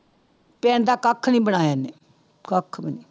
ਪਿੰਡਾ ਦਾ ਕੱਖ ਨੀ ਬਣਾਇਆ ਇਹਨੇ ਕੱਖ ਵੀ ਨੀ